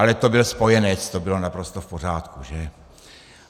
Ale to byl spojenec, to bylo naprosto v pořádku, že?